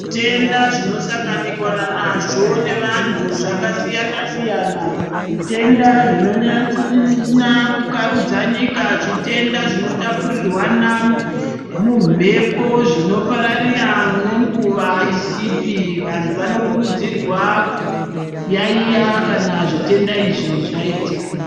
Zvitenda zvino sangananikwa nazvo ne vantu zvaka siyana siyana zvitenda zvino nasa ku karudza nyika zvitenda zvino tapurirwana mu mhepo zvino pararira ne nguva isipi vantu vano kurudzirwa ku yayiya kana zvitenda izvi zvaitika.